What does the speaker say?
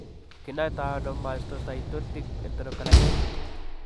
Kinaitano mastocytic enterocolits.